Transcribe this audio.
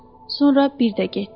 Sonra bir də getdi.